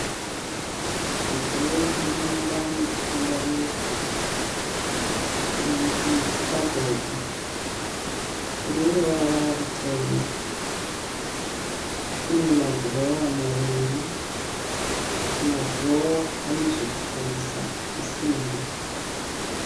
Mudziyo yemumba mekutandarira. Ichi chikabhodi, chineruvara rutema. Chinema dhirowa maviri. Madhirowa ane zvekuvhurisa zvesimbi